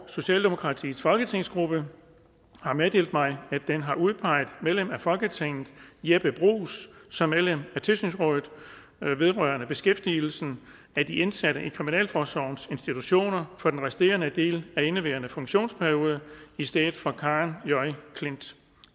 socialdemokratiets folketingsgruppe har meddelt mig at den har udpeget medlem af folketinget jeppe bruus som medlem af tilsynsrådet vedrørende beskæftigelsen af de indsatte i kriminalforsorgens institutioner for den resterende del af indeværende funktionsperiode i stedet for karen j klint